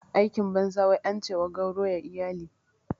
Aikin banza wai ance wa gauro ya iyali